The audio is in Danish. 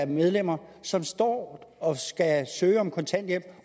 medlemmerne som står og skal søge om kontanthjælp